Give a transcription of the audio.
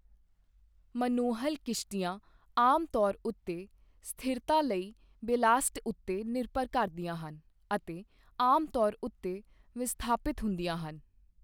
Monohull ਕਿਸ਼ਤੀਆਂ ਆਮ ਤੌਰ ਉੱਤੇ ਸਥਿਰਤਾ ਲਈ ਬੈਲਾਸਟ ਉੱਤੇ ਨਿਰਭਰ ਕਰਦੀਆਂ ਹਨ ਅਤੇ ਆਮ ਤੌਰ ਉੱਤੇ ਵਿਸਥਾਪਿਤ ਹੁੰਦੀਆਂ ਹਨ।